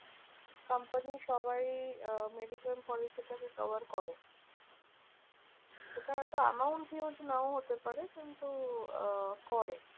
Company সবাই আহ mediclaim policy টা কে cover করে। সেটা হয়তো amount huge নাও হতে পারে কিন্তু আহ করে।